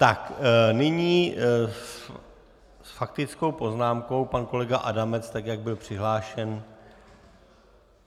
Tak nyní s faktickou poznámkou pan kolega Adamec tak, jak byl přihlášen.